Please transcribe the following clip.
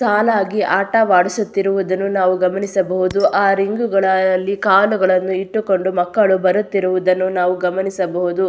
ಸಾಲಾಗಿ ಆಟವಾಡಿಸುತ್ತಿರುವುದನ್ನು ನಾವು ಗಮನಿಸಬಹುದು ಆ ರಿಂಗುಗಳ ಅಲ್ಲಿ ಕಾಲುಗಳನ್ನು ಇಟ್ಟುಕೊಂಡು ಮಕ್ಕಳು ಬರುತ್ತಿರುವುದನ್ನು ನಾವು ಗಮನಿಸಬಹುದು.